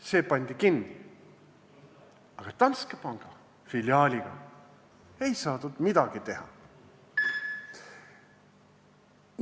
See pandi kinni, aga Danske panga filiaaliga ei saadud midagi teha.